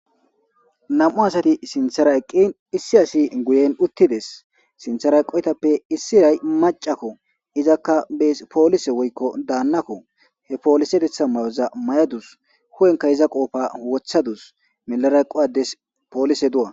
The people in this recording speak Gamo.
Nam7u asati sinthera eqqin issi asi guyen uttides sinthera eqoytappe issi ray macakko izakka bees poolise woykko daannakko he poolise detha may7oza may7adus hu7enka iza qoofa wothadus melara qowades poolise du7a.